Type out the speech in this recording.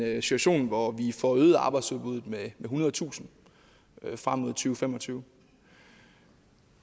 en situation hvor vi får øget arbejdsudbudet med ethundredetusind frem mod to fem og tyve